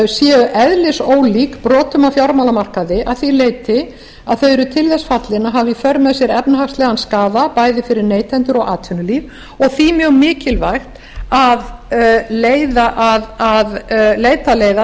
séu eðlisólík brotum á fjármálamarkaði að því leyti að þau eru til þess fallin að hafa í för með sér efnahagslegan skaða bæði fyrir neytendur og atvinnulíf og því mjög mikilvægt að leita leiða